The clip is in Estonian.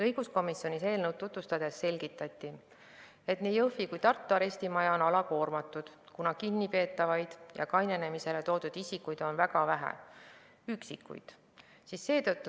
Õiguskomisjonis eelnõu tutvustades selgitati, et nii Jõhvi kui ka Tartu arestimaja on alakoormatud, kuna kinnipeetavaid ja kainenema toodud isikuid on väga vähe, vaid üksikuid.